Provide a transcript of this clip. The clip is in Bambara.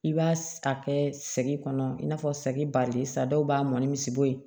I b'a a kɛ sɛgi kɔnɔ i n'a fɔ sɛgi barilen sa dɔw b'a mɔni bɔ ye